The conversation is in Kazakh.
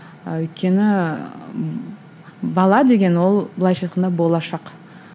ы өйткені бала деген ол былайша айтқанда болашақ